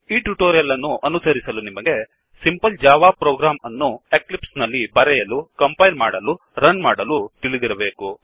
ಈ ಟ್ಯುಟೊರಿಯಲ್ ಅನ್ನು ಅನುಸರಿಸಲು ನಿಮಗೆ simple Java program simple Java program ಅನ್ನು ಎಕ್ಲಿಪ್ಸ್ ನಲ್ಲಿ ಬರೆಯಲುಕಂಪೈಲ್ ಮಾಡಲುರನ್ ಮಾಡಲು ತಿಳಿದಿರಬೇಕು